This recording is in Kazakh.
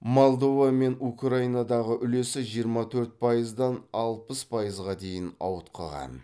молдова мен украинадағы үлесі жиырма төрт пайыздан алпыс пайызға дейін ауытқыған